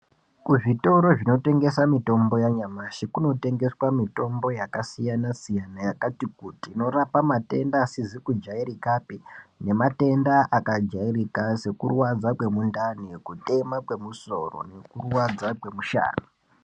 Kuzvitoro zvinotengesa mutombo yanyamashi kunotengeswa mutombo yakasiyana siyana yakati kuti inorapa matenda asizi kujairika pe nematenda akajairika sekurwadza kwemundai kutema kwemusoro nekurwadza kwemushana.